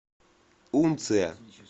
унция